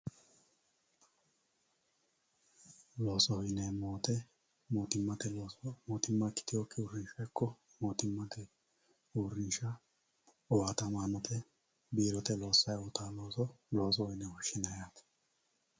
loosoho yineemmo woyiite mootimmate looso mootimma ikkitewookki uurrinsha mootimmate uurrinsha owaatamaanote biirote loossay uytawoo looso loosoho yine woshshinanni yaate